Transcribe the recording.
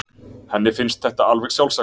Henni finnst þetta alveg sjálfsagt.